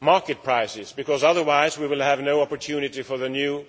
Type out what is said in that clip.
Market prices, because otherwise there will be no opportunity for the new